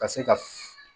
Ka se ka